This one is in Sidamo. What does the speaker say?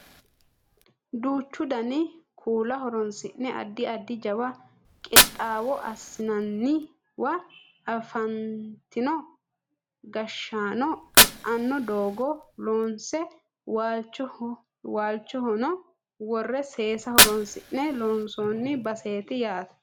duuchu dani kuula horonsi'ne addi addi jawa qixxaawo assinanniwa afantino gashshaano e"anno doogo loonse waalchono worre seesa horonsi'ne loonsooni baseeti yaate